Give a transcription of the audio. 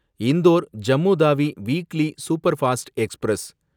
Indore Jammu Tawi weekly superfast express